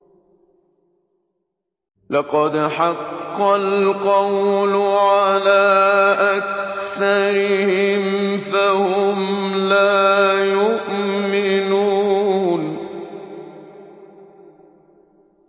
لَقَدْ حَقَّ الْقَوْلُ عَلَىٰ أَكْثَرِهِمْ فَهُمْ لَا يُؤْمِنُونَ